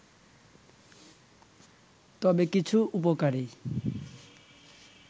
তবে কিছু উপকারী